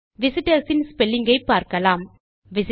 visitors in spelling ஐ பார்க்கலாம்